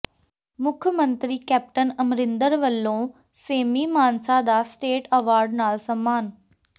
ਮੁੱਖ ਮੰਤਰੀ ਕੈਪਟਨ ਅਮਰਿੰਦਰ ਵਲੋਂ ਸੇਮੀ ਮਾਨਸਾ ਦਾ ਸਟੇਟ ਐਵਾਰਡ ਨਾਲ ਸਨਮਾਨ